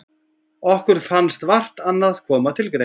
Okkur fannst vart annað koma til greina.